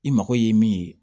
I mago ye min ye